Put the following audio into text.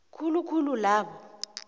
khulu khulu labo